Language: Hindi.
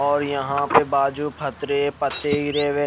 और यहा पे बाजु फतरे पते गिरे हुए है।